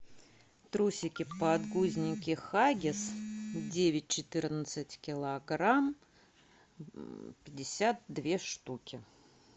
трусики подгузники хаггис девять четырнадцать килограмм пятьдесят две штуки